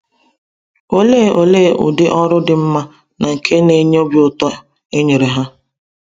Olee Olee ụdị ọrụ dị mma na nke n'enye obi ụtọ e nyere ha!